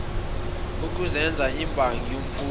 ukuzenza imbangi yomfowethu